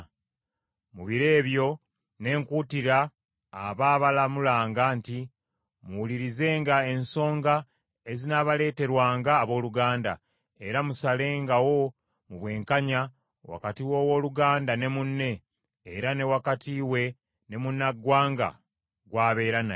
Mu biro ebyo ne nkuutira abaabalamulanga nti, ‘Muwulirizenga ensonga ezinaabaleeterwanga abooluganda, era musalengawo mu bwenkanya wakati w’owooluganda ne munne, era ne wakati we ne munnaggwanga gw’abeera naye.